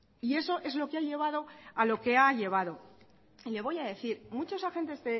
y eso es lo que ha llevado a lo que ha llevado le voy a decir muchos agentes